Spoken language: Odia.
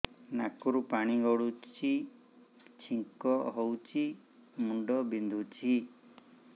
ନାକରୁ ପାଣି ଗଡୁଛି ଛିଙ୍କ ହଉଚି ମୁଣ୍ଡ ବିନ୍ଧୁଛି